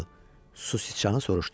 Su siçanı soruşdu.